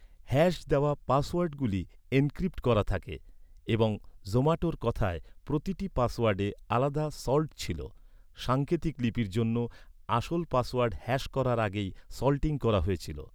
Hash দেওয়া পাসওয়ার্ডগুলি encrypt করা থাকে, এবং জোম্যাটোর কথায়, প্রতিটি পাসওয়ার্ডে আলাদা "সল্ট" ছিল, সাঙ্কেতিক লিপির জন্য, আসল পাসওয়ার্ড হ্যাশ করার আগে সল্টিং করা হয়েছিল।